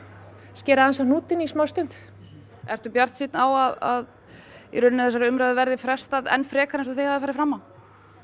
skera aðeins á hnútinn í smá stund ertu bjartsýnn á að umræðunni verði frestað enn frekar eins og þið hafið farið fram á